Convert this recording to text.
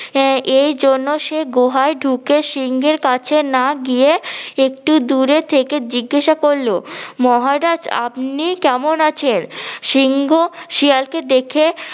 আহ এই জন্য সে গোহায় ঢুকে সিংহের কাছে না গিয়ে একটু দূরে থেকে জিজ্ঞাসা করলো মহারাজ আপনি কেমন আছেন? সিংহ শেয়ালকে দেখে